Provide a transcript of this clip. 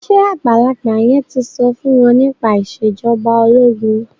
ṣe àgbàlagbà yen tí so fún wón nípa Ìṣèjọba ológun?